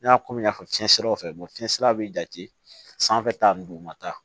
N y'a ko min y'a fɔ cɛnsɛrɛw fɛ fiɲɛ sira bɛ jate sanfɛ ta ni dugumata